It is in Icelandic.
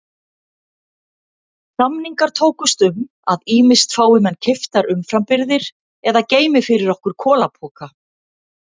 Samningar tókust um að ýmist fái menn keyptar umframbirgðir eða geymi fyrir okkur kolapoka.